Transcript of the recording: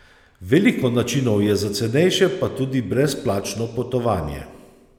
Veliko je načinov za cenejše pa tudi brezplačno potovanje.